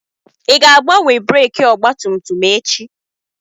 Ị ga-agbanwe breekị ọgbatumtum echi?